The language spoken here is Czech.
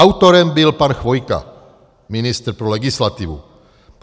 Autorem byl pan Chvojka, ministr pro legislativu.